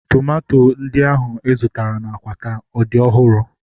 Tomato ndị ahu ị zụtara na Akwata ọ dị ọhụrụ?